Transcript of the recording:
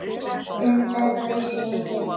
Um þetta vissi enginn.